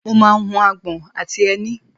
mo máa ń hu agbọ̀n àti ẹni